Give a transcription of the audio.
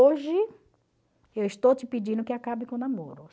Hoje eu estou te pedindo que acabe com o namoro.